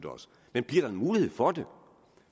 men bliver der en mulighed for det